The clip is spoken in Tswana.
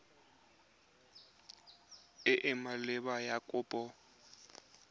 e e maleba ya kopo